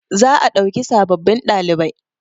za a dauki sababbin ɗalibai